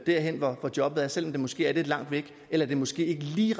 derhen hvor jobbet er selv om det måske er lidt langt væk eller det måske ikke lige